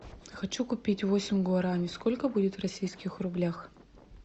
хочу купить восемь гуарани сколько будет в российских рублях